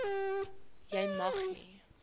jy mag nie